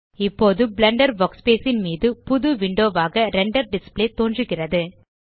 இப்போது Blender workspace ன் மீது புது விண்டோ ஆக ரெண்டர் டிஸ்ப்ளே தோன்றுகிறது